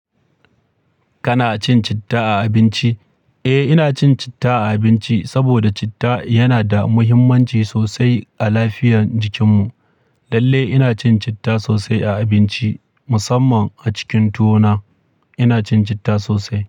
Kana cin citta a abinci? Eh, ina cin citta a abinci saboda citta yana da muhimmanci sosai a lafiyar jikinmu. Lalle ina cin citta sosai a abinci, musamman a cikin tuwo na ina cin citta sosai.